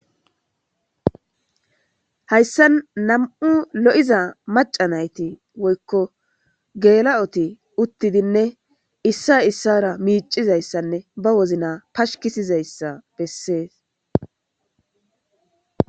Hayssa nam7u lo7iza macanayti woykko geela7oti uttidinne issa issara miicizayssanne ba wozna pashkisizayssa bessees.